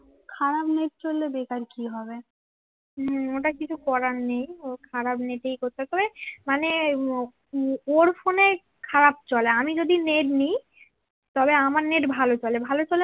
খারাপ নেট চললে বেকার কি হবে হম ওটা কিছু করার নেই খারাপ নেট এই করতে হবে মানে আমি যদি নেট নেই তবে আমার নেট ভালো চলে